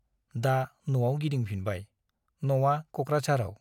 दा न'आव गिदिंफिनबाय , न'आ क'क्राझाराव ।